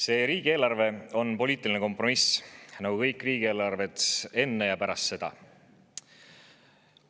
See riigieelarve on poliitiline kompromiss, nagu kõik riigieelarved enne ja pärast seda.